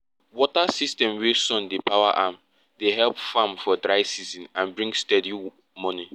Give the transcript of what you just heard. water system wey sun dey power am dey help farm for dry season and bring steady money